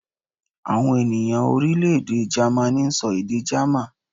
Àwọn ènìyàn Orílèdè Gamaní n sọ èdè gámà